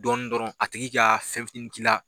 Dɔɔnin dɔrɔn a tigi ka fɛn fitiinin k'i la.